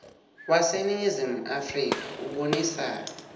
waseningizimu afrika ubonisa